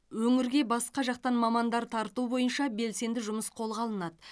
өңірге басқа жақтан мамандар тарту бойынша белсенді жұмыс қолға алынады